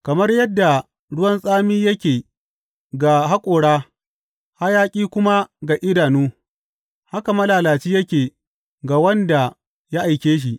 Kamar yadda ruwan tsami yake ga haƙora hayaƙi kuma ga idanu, haka malalaci yake ga wanda ya aike shi.